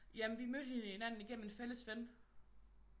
Jamen vi mødte hinanden igennem en fælles ven